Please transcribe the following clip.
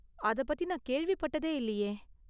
அத பத்தி நான் கேள்விப் பட்டதே இல்லியே.